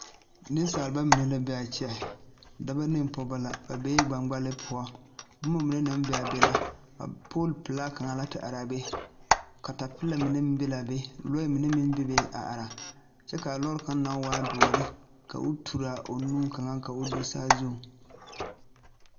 Nensalba mine la be a kyɛ dɔba ne pɔgeba la ba bee gbangbale poɔ boma mine naŋ be a be la poolpelaa kaŋ la te are a be katapeelɛ mine meŋ be la a be lɔɛ mine meŋ bebe a are kyɛ ka a lɔɔre kaŋ naŋ waa doɔre ka o turaa a o nu kaŋ ka o do saa zuŋ.